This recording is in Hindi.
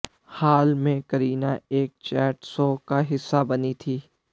हाल में करीना एक चैट शो का हिस्सा बनी थीं